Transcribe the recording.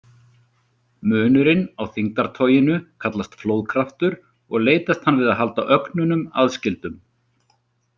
Munurinn á þyngdartoginu kallast flóðkraftur og leitast hann við að halda ögnunum aðskildum.